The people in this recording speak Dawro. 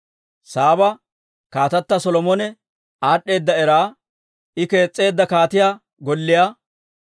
Saaba kaatata Solomone aad'd'eeda era, I kees's'eedda kaatiyaa golliyaa,